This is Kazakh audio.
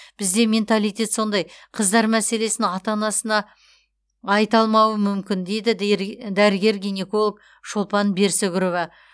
бізде менталитет сондай қыздар мәселесін ата анасына айта алмауы мүмкін дейді дәрігер гинеколог шолпан берсүгірова